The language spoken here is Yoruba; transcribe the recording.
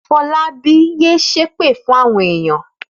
Fọlábí yé ṣép fún àwọn ènìyàn!